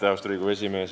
Austatud Riigikogu esimees!